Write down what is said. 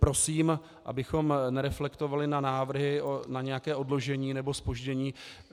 Prosím, abychom nereflektovali na návrhy na nějaké odložení nebo zpoždění.